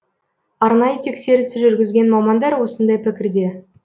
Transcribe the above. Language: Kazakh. арнайы тексеріс жүргізген мамандар осындай пікірде